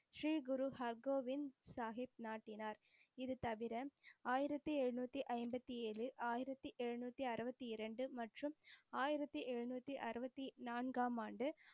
ஸ்ரீ குரு ஹர்கோவிந்த் சாஹிப் நாட்டினார். இது தவிர ஆயிரத்தி எழுநூத்தி ஐம்பத்தி ஏழு ஆயிரத்தி எழுநூத்தி அறுவத்தி இரண்டு மற்றும் ஆயிரத்தி எழுநூத்தி அறுவத்தி நான்காமாண்டு,